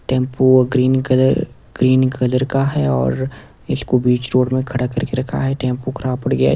Tempo green colour green colour का है और इसको बीच रोड में खड़ा करके रखा है टेंपो खराब पड़ गया है।